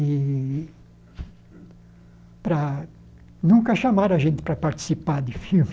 E para nunca chamaram a gente para participar de filme.